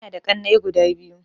Ina da ƙanai guda biyu